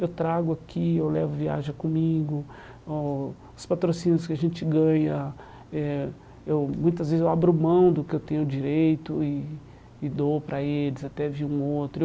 Eu trago aqui, eu levo viaja comigo, oh os patrocínios que a gente ganha eh, eu muitas vezes eu abro mão do que eu tenho direito e e dou para eles, até vi um outro. Eu